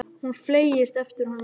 Hann fleygist eftir honum út í bíl.